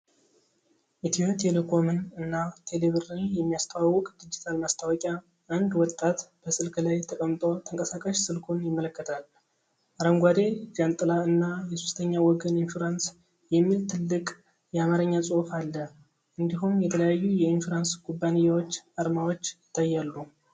ኢትዮ ቴሌኮምን እና ቴሌብርን የሚያስተዋውቅ ዲጂታል ማስታወቂያ ። አንድ ወጣት በስልክ ላይ ተቀምጦ ተንቀሳቃሽ ስልኩን ይመለከታል፤ አረንጓዴ ጃንጥላ እና "የሶስተኛ ወገን ኢንሹራንስ!" የሚል ትልቅ የአማርኛ ጽሑፍ አለ። እንዲሁም የተለያዩ የኢንሹራንስ ኩባንያዎች አርማዎች ይታያሉ።